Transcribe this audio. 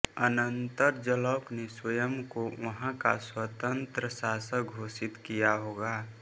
अनंतर जलौक ने स्वयं को वहाँ का स्वतंत्र शासक घोषित किया होगा